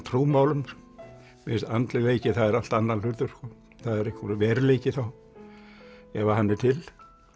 trúmálum mér finnst andlegleiki það er allt annar hlutur það er einhver veruleiki þá ef að hann er til